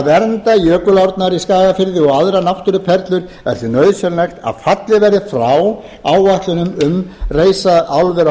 vernda jökulsárnar í skagafirði og aðrar náttúruperlur er því nauðsynlegt að fallið verði frá áætlunum um að reisa álver á